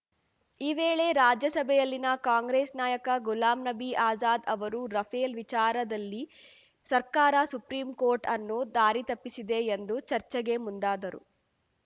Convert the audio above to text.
ಈ ವೇಳೆ ರಾಜ್ಯಸಭೆಯಲ್ಲಿನ ಕಾಂಗ್ರೆಸ್‌ ನಾಯಕ ಗುಲಾಂ ನಬಿ ಆಜಾದ್‌ ಅವರು ರಫೇಲ್‌ ವಿಚಾರದಲ್ಲಿ ಸರ್ಕಾರ ಸುಪ್ರೀಂಕೋರ್ಟ್‌ ಅನ್ನು ದಾರಿತಪ್ಪಿಸಿದೆ ಎಂದು ಚರ್ಚೆಗೆ ಮುಂದಾದರು